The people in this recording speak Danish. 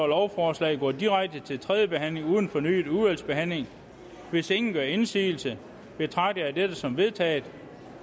lovforslaget går direkte til tredje behandling uden fornyet udvalgsbehandling hvis ingen gør indsigelse betragter jeg dette som vedtaget